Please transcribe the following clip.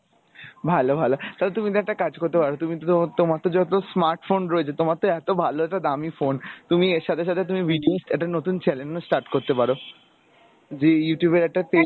ভালো ভালো তো তুমি তো একটা কাজ করতে পারো তুমি তো তোমার তো যেহেতু smart phone রয়েছে তোমার তো এত ভালো একটা দামি ফোন তুমি এর সাথে সাথে তুমি video একটা নতুন channel ও start করতে পারো যে Youtube এর একটা page